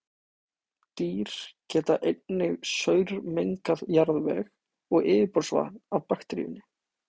Dýr geta einnig saurmengað jarðveg og yfirborðsvatn af bakteríunni.